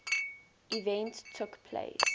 event took place